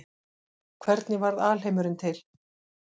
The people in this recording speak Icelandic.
Hvernig varð alheimurinn til?